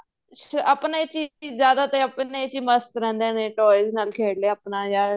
ਆਪਣੇ ਚ ਹੀ ਜਿਆਦਾ ਤਾਂ ਆਪਣੇ ਚ ਹੀ ਮਸਤ ਰਹਿੰਦੇ ਨੇ toys ਨਾਲ ਖੇਡ ਲਿਆ ਆਪਣਾ ਜਾਂ